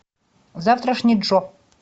завтрашний джо